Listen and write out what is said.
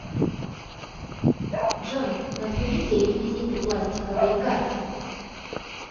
джой назовите реквизиты пластиковые карты